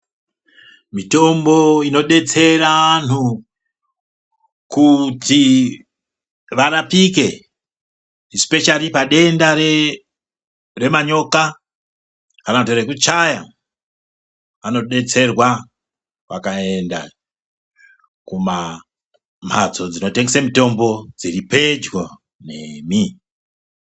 Mitombo inodetsera anhu kuti varapike isipeshali padenda remanyoka kana kuti rekuchaya vanodetserwa vakaenda kumhatso dzinotengese mitombo dziri pedyo nemi.